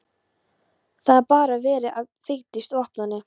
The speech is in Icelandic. Það var barið að dyrum og Vigdís opnaði.